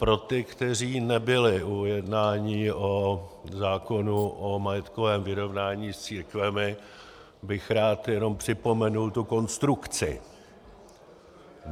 Pro ty, kteří nebyli u jednání o zákonu o majetkovém vyrovnání s církvemi, bych rád jenom připomenul tu konstrukci.